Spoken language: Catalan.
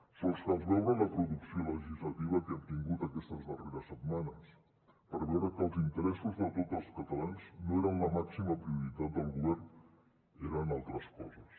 sols cal veure la producció legislativa que hem tingut aquestes darreres setmanes per veure que els interessos de tots els catalans no eren la màxima prioritat del govern ho eren altres coses